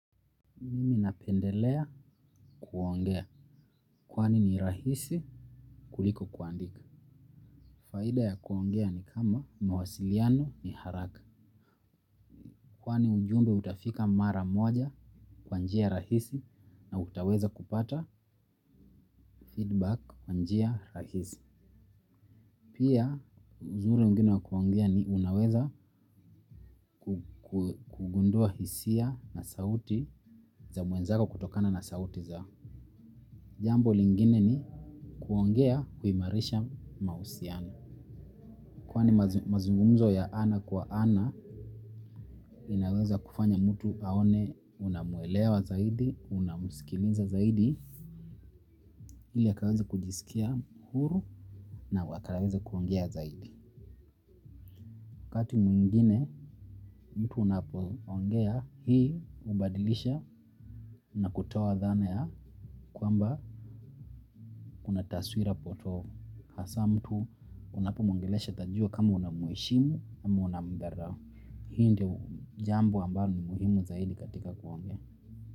Nimi napendelea kuongea kwani ni rahisi kuliko kuandika. Faida ya kuongea ni kama mawasiliano ni haraka. Kwani ujumbe utafika mara moja kwa njia rahisi na utaweza kupata feedback kwa njia rahisi. Pia uzuri mwingine wa kuongea ni unaweza kugundua hisia na sauti za mwenzako kutokana na sauti zao. Jambo lingine ni kuongea huimarisha mahusiano. Kwani mazungumzo ya ana kwa ana inaweza kufanya mtu aone unamwelewa zaidi, unamsikiliza zaidi, ili akaweze kujisikia huru na akaweze kuongea zaidi. Wakati mwingine mtu unapoongea hii hubadilisha na kutoa dhana ya kwamba una taswira potovu hasa mtu unapomwongelesha atajua kama unamheshimu ama unamdharau. Hii ndiyo jambo ambayo ni muhimu zaidi katika kuongea.